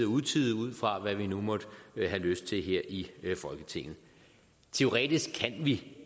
utide ud fra hvad vi nu måtte have lyst til her i folketinget teoretisk kan vi